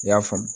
I y'a faamu